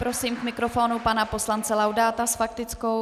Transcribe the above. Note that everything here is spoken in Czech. Prosím k mikrofonu pana poslance Laudáta s faktickou.